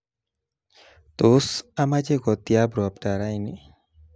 Tos, amache kotiab robta raini?